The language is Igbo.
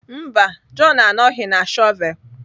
Mba, John anọghị na shọvel.